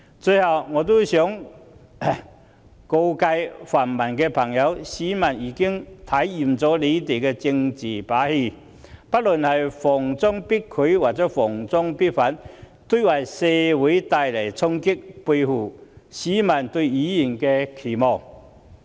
最後，我想告誡泛民朋友，市民已經看厭了他們的政治把戲，不論是"逢中必拒"或"逢中必反"，都為社會帶來衝擊，背棄市民對議員的期望。